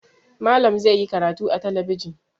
Malam zai yi karatu a talabijin.